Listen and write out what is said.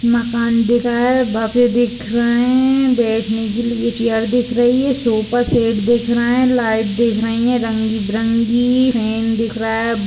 मकान दिख रहा है बैठने के लिए चेयर दिख रही है सोफा सेट दिख रही है रंग बिरंगी फैन दिख रहा है।